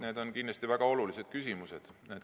Need on kindlasti väga olulised küsimused.